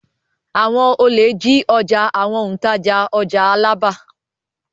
Àwọn olè jí ọjà àwọn òǹtajà ọjà Alábà.